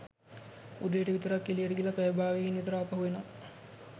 උදේට විතර එළියට ගිහිල්ල පැය භාගයකින් විතර ආපසු එනවා